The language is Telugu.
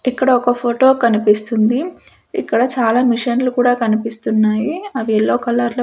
ఇక్కడ ఒక ఫొటో కనిపిస్తుంది ఇక్కడ చాలా మిషన్లు కూడా కనిపిస్తున్నాయి అవి యెల్లో కలర్ లో--